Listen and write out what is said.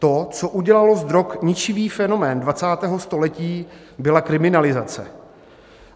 To, co udělalo z drog ničivý fenomén 20. století, byla kriminalizace.